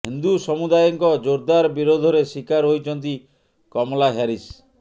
ହିନ୍ଦୁ ସମୁଦାୟଙ୍କ ଜୋରଦାର ବିରୋଧରେ ଶିକାର ହୋଇଛନ୍ତି କମଲା ହ୍ୟାରିସ୍